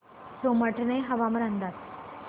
सोमाटणे हवामान अंदाज